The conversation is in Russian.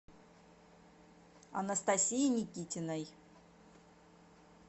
анастасии никитиной